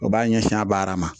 O b'a ɲɛsin a baara ma